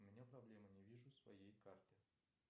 у меня проблема не вижу своей карты